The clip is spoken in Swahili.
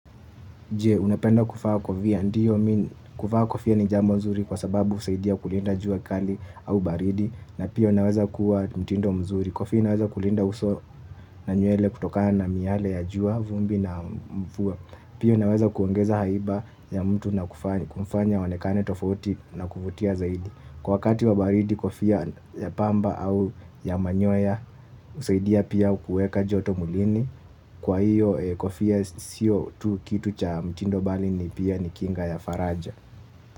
Je, unapenda kuvaa kofia? Ndiyo mi, kuvaa kofia ni jambo nzuri kwa sababu husaidia kulinda jua kali au baridi na pia unaweza kuwa mtindo mzuri. Kofia inaweza kulinda uso na nywele kutokana na miale ya jua, vumbi na mvua. Pia unaweza kuongeza haiba ya mtu na kumfanya aonekane tofauti na kuvutia zaidi. Kwa wakati wa baridi kofia ya pamba au ya manyoya husaidia pia kuweka joto mwilini, kwa hiyo kofia sio tu kitu cha mtindo bali pia ni kinga ya faraja.